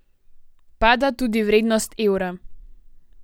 Pada tudi vrednost evra.